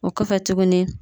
O kɔfɛ tuguni